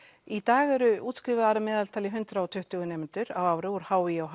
í dag eru útskrifaðir að meðaltali hundrað og tuttugu nemendur á ári úr h í og